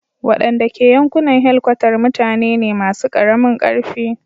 Wadanda ke yankunan helkwatar mutane ne masu karamin karfi.